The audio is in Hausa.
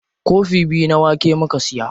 Kofi biyu na wake muka siya.